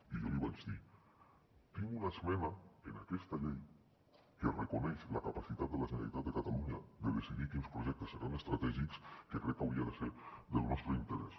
i jo li vaig dir tinc una esmena en aquesta llei que reconeix la capacitat de la generalitat de catalunya de decidir quins projectes seran estratègics que crec que hauria de ser del nostre interès